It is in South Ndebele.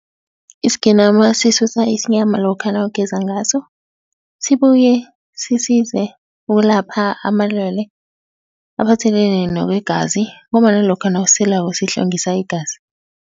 Isigenama sisusa isinyama lokha nawugeza ngaso, sibuye sisize ukulapha amalwele aphathelene nokwegazi ngombana lokha nawuselako sihlwengisa igazi.